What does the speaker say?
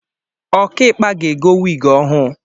Ọkaikpa ga-ego wigi ọhụụ